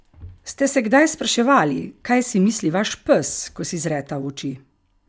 Ste se kdaj spraševali, kaj si misli vaš pes, ko si zreta v oči?